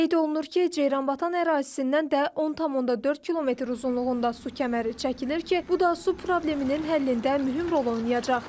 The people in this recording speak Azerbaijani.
Qeyd olunur ki, Ceyranbatan ərazisindən də 10,4 km uzunluğunda su kəməri çəkilir ki, bu da su probleminin həllində mühüm rol oynayacaq.